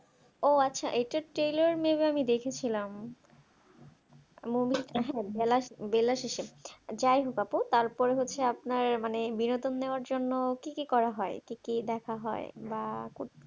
ও আচ্ছা এটা trailer may be আমি দেখেছিলাম বেলা বেলা শেষে যাইহোক আপু তারপর হচ্ছে আপনার মানে বিনোদন দেওয়ার জন্য কি কি করা হয় কি কি দেখা হয় বা